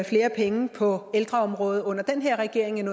flere penge på ældreområdet under den her regering end